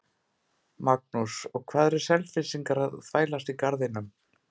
Magnús: Og hvað eru Selfyssingar að þvælast í Garðinum?